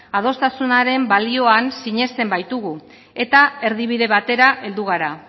adostasunaren balioan sineste baitugu eta erdibide batera heldu gara